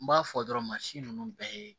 N b'a fɔ dɔrɔn mansin ninnu bɛɛ ye